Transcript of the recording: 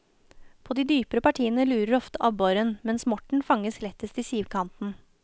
På de dypere partiene lurer ofte abboren, mens morten fanges lettest i sivkanten.